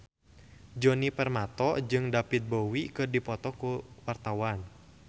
Djoni Permato jeung David Bowie keur dipoto ku wartawan